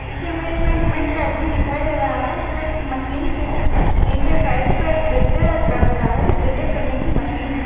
इस इमेज मे हमे एक आदमी दिखाई दे रहा है जो एक मशीन से नीचे फर्श पे गड्ढे कर रहा है गड्ढा करनेकी मशीन है।